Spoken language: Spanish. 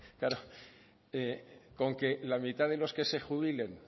claro con que la mitad de los que se jubilen